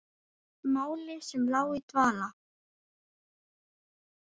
Máli sem lá í dvala!